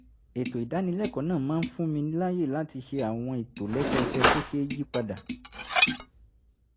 ètò ìdánilẹ́kọ̀ọ́ náà máa ń fún mi láyè láti ṣe àwọn ìtòlẹ́sẹẹsẹ tó ṣeé yí padà